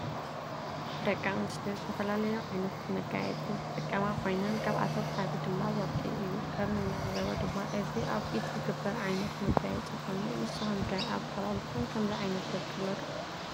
ደቂ አንስትዮ ዝተፈላለዩ ዓይነታት መጋየፂ ዝጥቀማ ኮይነን ካብአቶም ሓደ ድማ ወርቂ እዩ። ከም እንዕዞቦ ድማ እዚ አብ ኢድ ዝግበር ዓይነት መጋየፂ ኮይኑ ንስኩም ከ አብ ከባቢኩም ከምዚ ዓይነት ወርቂ አሎ ዶ?